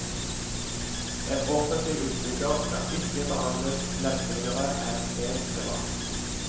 En offentlig utbygger skal ikke behandles lempeligere enn en privat.